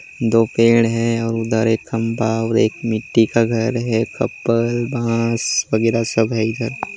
दो पेड़ है और उधर एक खंबा और एक मिट्टी का घर है खप्पर बांस वगेरा सब है इधर--